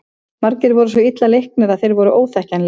Margir voru svo illa leiknir að þeir voru óþekkjanlegir.